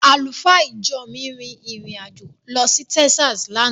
Àlùfáà ìjọ mi rin ìrìn- àjò lọ sí Taxas lánàá.